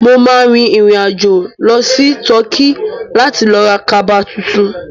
Mo ma rìn rìn àjò lọ sí Turkey láti lọ ra kaba tuntun